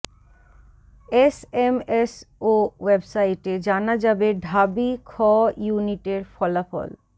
SMS ও ওয়েবসাইটে জানা যাবে ঢাবি খ ইউনিটের ফলাফল